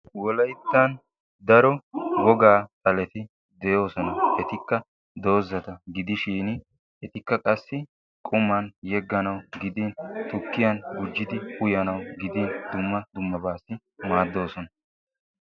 Wolayttan daro wogaa xaleti de'oosona. etikka dozata gidishin etikka qassi qquman yeganawu gidin tukkiyan yeganawu gidin dumma dummabatun uyanawu maadosona.